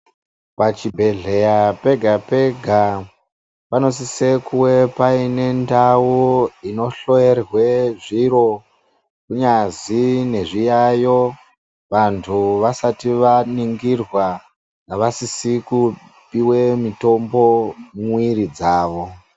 Pachibhedhleya pega pega, panosise kuwe painendau inohloyerwe zviro, ngazi nezviyayo vantu vasati vaningirwa navasisikupiwe mitombo muiri dzavo.